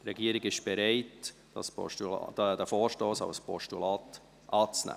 Die Regierung ist bereit, diesen Vorstoss als Postulat anzunehmen.